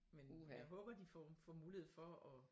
Men jeg håber de får får mulighed for at